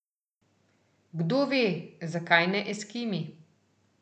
Kdove, zakaj ne Eskimi ...